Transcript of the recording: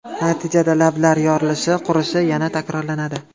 Natijada lablar yorilishi, qurishi yana takrorlanadi.